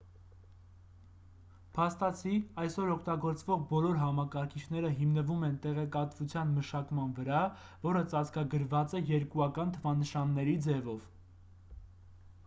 փաստացի այսօր օգտագործվող բոլոր համակարգիչները հիմնվում են տեղեկատվության մշակման վրա որը ծածկագրված է երկուական թվանշանների ձևով